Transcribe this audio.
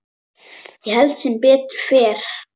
Ég held sem betur fer.